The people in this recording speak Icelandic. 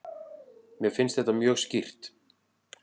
Mér finnst þetta mjög skýrt.